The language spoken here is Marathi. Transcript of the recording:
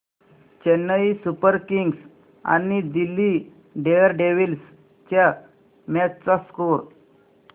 चेन्नई सुपर किंग्स आणि दिल्ली डेअरडेव्हील्स च्या मॅच चा स्कोअर